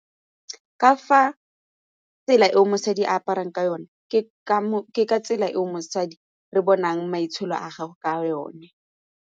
Ka fa tsela eo mosadi a aparang ka yone ke ka ke tsela eo mosadi re bonang maitsholo a gago ka yone.